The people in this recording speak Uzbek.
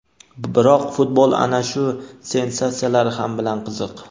biroq futbol ana shu sensatsiyalari ham bilan qiziq.